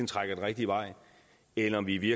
trækker den rigtige vej eller om vi vi